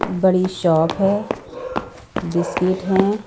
बड़ी शॉप हैं बिस्किट हैं ।